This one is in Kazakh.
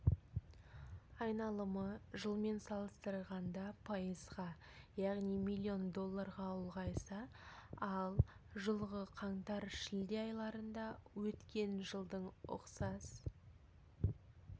айналымы жылмен салыстырғанда пайызға яғни миллион долларға ұлғайса ал жылғы қаңтар-шілде айларында өткен жылдың ұқсас